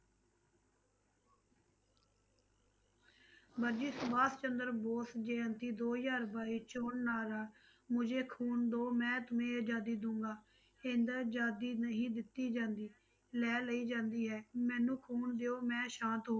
ਵਰਜੀ ਸੁਭਾਸ਼ ਚੰਦਰ ਬੋਸ ਜਯੰਤੀ ਦੋ ਹਜ਼ਾਰ ਬਾਈ ਚੌਣ ਨਾਅਰਾ ਮੁਜੇ ਖੂਨ ਦੋ ਮੈਂ ਤੁਮੇ ਆਜ਼ਾਦੀ ਦਊਂਗਾ, ਏਦਾਂ ਆਜ਼ਾਦੀ ਨਹੀਂ ਦਿੱਤੀ ਜਾਂਦੀ, ਲੈ ਲਈ ਜਾਂਦੀ ਹੈ, ਮੈਨੂੰ ਖੂਨ ਦਿਓ ਮੈਂ ਸ਼ਾਂਤ